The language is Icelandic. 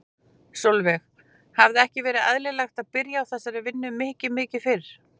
Sólveig: Hefði ekki verið eðlilegt að byrja á þessari vinnu mikið mikið fyrr?